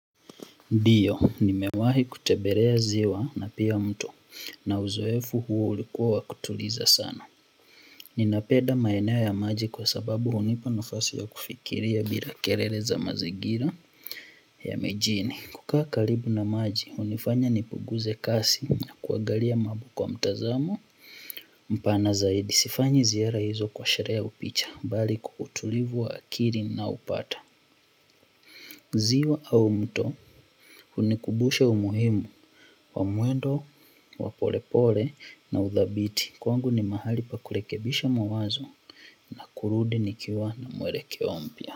Ndiyo, nimewahi kutembelea ziwa na pia mto na uzoefu huo ulikuwa wa kutuliza sana. Nina penda maeneo ya maji kwasababu hunipa nafasi ya kufikiria bila kelele za mazingira ya mijini kukaa karibu na maji hunifanya nipunguze kasi na kuangalia kwa mtazamo mpana zaidi sifanyi ziara hizo kwa sherehe ya upicha bali kwa utulivu wa akili ninao upata ziwa au mto hunikumbusha umuhimu wa mwendo wa polepole na udhabiti kwangu ni mahali pa kurekebisha mawazo na kurudi nikiwa na muelekeo mpya.